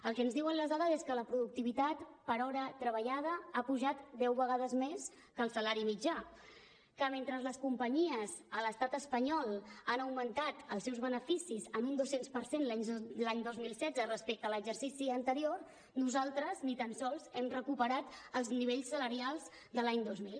el que ens diuen les dades és que la productivitat per hora treballada ha pujat deu vegades més que el salari mitjà que mentre les companyies a l’estat espanyol han augmentat els seus beneficis en un dos cents per cent l’any dos mil setze respecte a l’exercici anterior nosaltres ni tan sols hem recuperat els nivells salarials de l’any dos mil